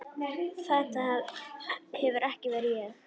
Þetta hefur ekki verið ég?